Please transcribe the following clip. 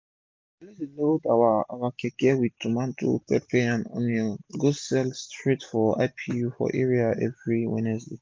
we dey always load our our keke with tomato pepper and onion go sell straight to ipu for area everi wednesday